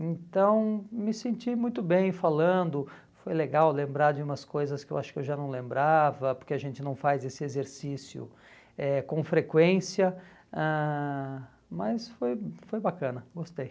Então, me senti muito bem falando, foi legal lembrar de umas coisas que eu acho que eu já não lembrava, porque a gente não faz esse exercício eh com frequência, ãh mas foi foi bacana, gostei.